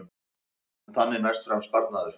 Þannig næst fram sparnaður